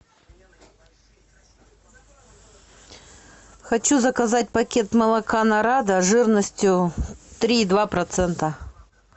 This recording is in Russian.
хочу заказать пакет молока нарада жирностью три и два процента